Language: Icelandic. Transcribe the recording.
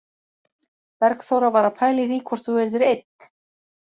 Bergþóra var að pæla í því hvort þú yrðir einn